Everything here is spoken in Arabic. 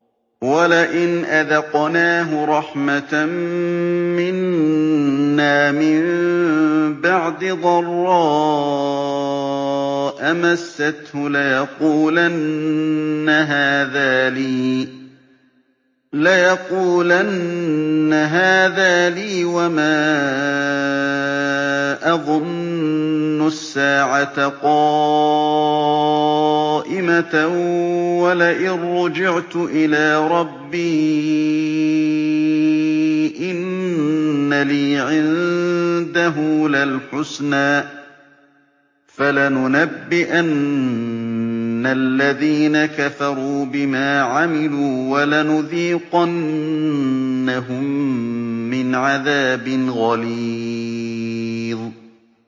وَلَئِنْ أَذَقْنَاهُ رَحْمَةً مِّنَّا مِن بَعْدِ ضَرَّاءَ مَسَّتْهُ لَيَقُولَنَّ هَٰذَا لِي وَمَا أَظُنُّ السَّاعَةَ قَائِمَةً وَلَئِن رُّجِعْتُ إِلَىٰ رَبِّي إِنَّ لِي عِندَهُ لَلْحُسْنَىٰ ۚ فَلَنُنَبِّئَنَّ الَّذِينَ كَفَرُوا بِمَا عَمِلُوا وَلَنُذِيقَنَّهُم مِّنْ عَذَابٍ غَلِيظٍ